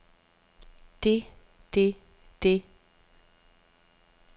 det det det